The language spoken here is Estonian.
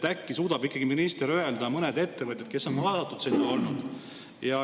Äkki minister suudab ikkagi öelda mõned ettevõtjad, kes on olnud sinna kaasatud.